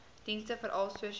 dienste veral sosio